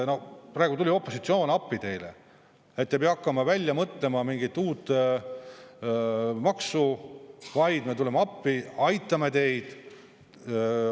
Praegu tuli opositsioon appi teile, et te ei pea hakkama välja mõtlema mingit uut maksu, vaid me tuleme appi, aitame teid.